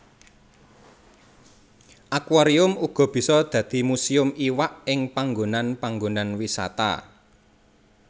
Akuarium uga bisa dadi muséum iwak ing panggonan panggonan wisata